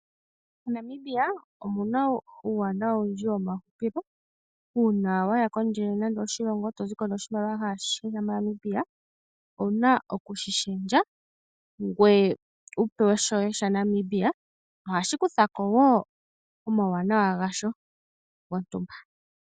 MoNamibia omu na uuwanawa owundji womahupilo. Uuna wa ya kondje yoshilongo e to zi ko noshimaliwa kashi shi shomoNamibia owu na oku shi lundulula, ngoye wu pewe shoye shaNamibia, ohashi kutha ko wo omauwanawa gasho gontumba.